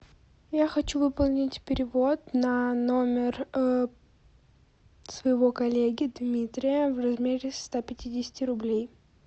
я хочу выполнить перевод на номер своего коллеги дмитрия в размере ста пятидесяти рублей